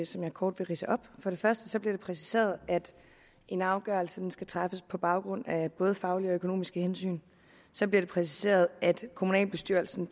som jeg kort vil ridse op for det første bliver det præciseret at en afgørelse skal træffes på baggrund af både faglige og økonomiske hensyn så bliver det præciseret at kommunalbestyrelsen